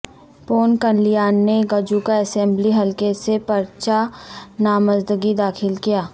پون کلیان نے گجوکا اسمبلی حلقہ سے پرچہ نامزدگی داخل کیا